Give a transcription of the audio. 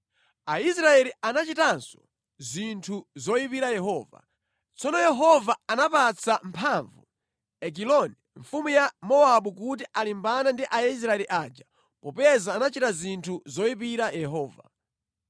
Aisraeli anachitanso zinthu zoyipira Yehova. Tsono Yehova anapatsa mphamvu Egiloni, mfumu ya Mowabu kuti alimbane ndi Aisraeli aja popeza anachita zinthu zoyipira Yehova.